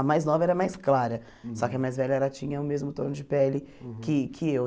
A mais nova era mais clara, só que a mais velha ela tinha o mesmo tom de pele que que eu.